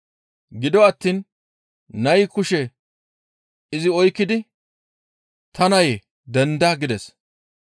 Gido attiin nayi kushe izi oykkidi, «Ta nayee! Denda!» gides.